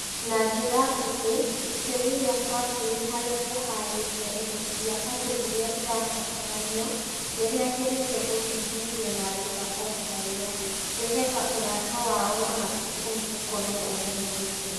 Na njĩra nguhĩ, itemi rĩa kambuni harĩ kũhaarĩria indo cia andũ iria irabatarania nĩ rĩagĩrĩire gũthuthurio na njĩra o ta ĩyo, nĩ getha ũrata wao na mathukuru ũkorũo ũrĩ mũhũthũ.